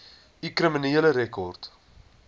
u kriminele rekord